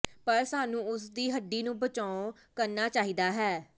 ਪਰ ਸਾਨੂੰ ਉਸ ਦੀ ਹੱਡੀ ਨੂੰ ਬਚਾਓ ਕਰਨਾ ਚਾਹੀਦਾ ਹੈ